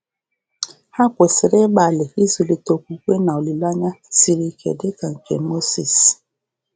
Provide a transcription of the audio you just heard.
Ha kwesịrị ịgbalị ịzụlite okwukwe na olileanya um siri ike dị ka nke Mozis. um